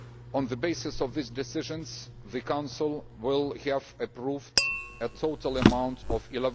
On the basis of these decisions, the Council will have approved a total of EUR